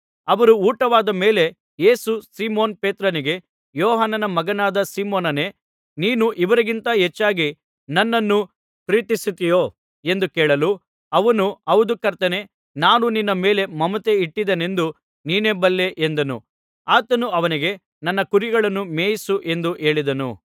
ಅವರ ಊಟವಾದ ಮೇಲೆ ಯೇಸು ಸೀಮೋನ್ ಪೇತ್ರನಿಗೆ ಯೋಹಾನನ ಮಗನಾದ ಸೀಮೋನನೇ ನೀನು ಇವರಿಗಿಂತ ಹೆಚ್ಚಾಗಿ ನನ್ನನ್ನು ಪ್ರೀತಿಸುತ್ತಿಯೋ ಎಂದು ಕೇಳಲು ಅವನು ಹೌದು ಕರ್ತನೇ ನಾನು ನಿನ್ನ ಮೇಲೆ ಮಮತೆ ಇಟ್ಟಿದ್ದೇನೆಂದು ನೀನೇ ಬಲ್ಲೆ ಎಂದನು ಆತನು ಅವನಿಗೆ ನನ್ನ ಕುರಿಮರಿಗಳನ್ನು ಮೇಯಿಸು ಎಂದು ಹೇಳಿದನು